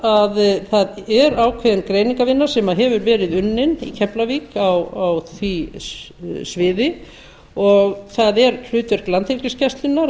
að það er ákveðin greiningarvinna sem hefur verið unnin í keflavík á því sviði og það er hlutverk landhelgisgæslunnar að